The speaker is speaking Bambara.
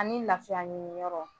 Ani lafiya ɲiniyɔrɔ